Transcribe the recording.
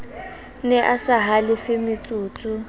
ne a sa halefe vmotsotso